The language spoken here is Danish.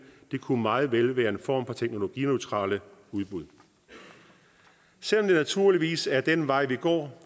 det kunne meget vel være en form for teknologineutrale udbud selv om det naturligvis er den vej vi går